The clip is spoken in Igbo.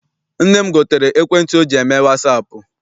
Nne m gotere ekwentị ọ ji eme wasaapụ.